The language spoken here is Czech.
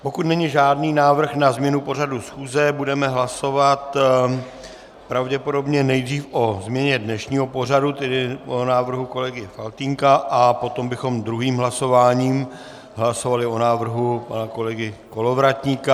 Pokud není žádný návrh na změnu pořadu schůze, budeme hlasovat pravděpodobně nejdřív o změně dnešního pořadu, tedy o návrhu kolegy Faltýnka, a potom bychom druhým hlasováním hlasovali o návrhu pana kolegy Kolovratníka.